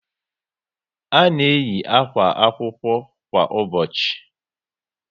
A na eyi àkwà akwụkwọ kwa ụbọchị